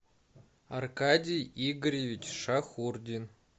аркадий игоревич шахурдин